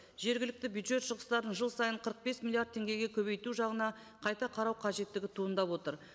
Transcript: жергілікті бюджет шығыстарын жыл сайын қырық бес миллиард теңгеге көбейту жағына қайта қарау қажеттігі туындап отыр